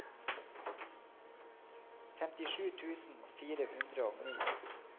femtisju tusen fire hundre og ni